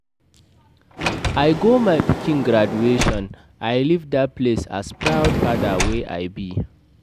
I go my pikin graduation, I leave dat place as proud father wey I be